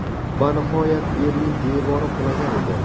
Va nihoyat, Berlin devori qulagan edi.